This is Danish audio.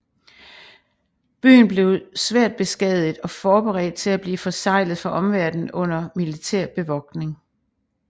Byen blev svært beskadiget og forberedt til at blive forseglet for omverdenen under militær bevogtning